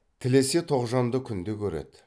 тілесе тоғжанды күнде көреді